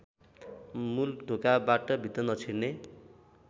मूलढोकाबाट भित्र नछिर्ने